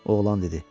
Oğlan dedi.